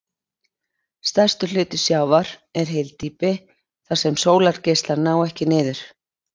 Stærstur hluti sjávar er hyldýpi þar sem sólargeislar ná ekki niður.